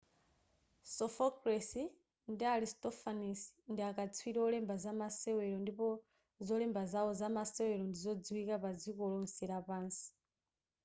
sophocles ndi aristophanes ndiakaswiri olemba zamasewero ndipo zolemba zawo zamasewero ndi zodziwika padziko lotse lapansi